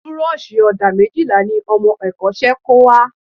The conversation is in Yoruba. Burọ̀ṣì ọ̀dà méjìlá ni ọmọ ẹ̀kọ́ṣẹ́ kó wá